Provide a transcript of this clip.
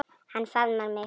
Hann faðmar mig.